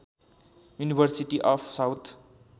university of south